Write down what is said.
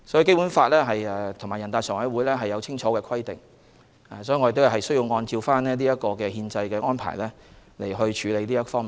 《基本法》和全國人大常委會對此有清晰的規定，我們需要按憲制安排去處理。